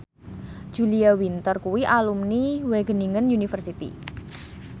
Julia Winter kuwi alumni Wageningen University